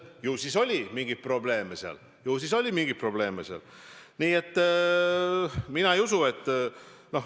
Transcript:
Ju siis oli seal mingeid probleeme.